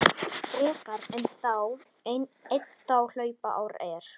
frekar einn þá hlaupár er.